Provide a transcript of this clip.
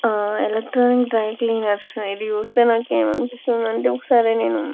ఏ electronic dry క్లీనర్లు ఇది చూస్తే నాకు ఏమి అనిపిస్తాది అంటే ఒక సారీ నేను --